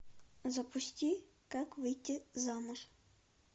запусти как выйти замуж